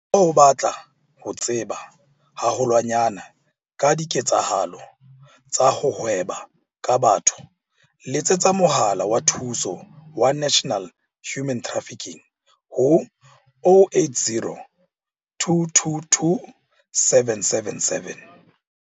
Ha o batla ho tseba haho lwanyane ka diketsahalo tsa ho hweba ka batho letsetsa Mohala wa Thuso wa National Human Trafficking ho- 0800 222 777.